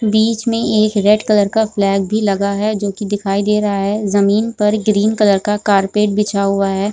बीच में एक red colour flag भी लगा है जो की दिखाई दे रहा है जमीन पर ग्रीन कलर का कारपेट बिछा हुआ है ।